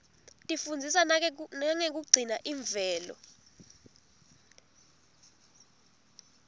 tifundzisa nangekugcina imvelo